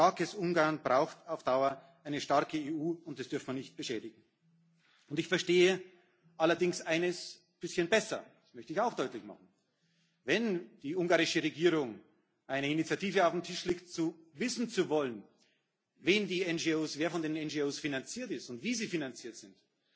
Ein starkes Ungarn braucht auf Dauer eine starke EU, und das dürfen wir nicht beschädigen. Ich verstehe allerdings eines ein bisschen besser, das möchte ich auch deutlich machen Wenn die ungarische Regierung eine Initiative auf den Tisch legt, wissen zu wollen, wer die NGO finanziert und wie sie finanziert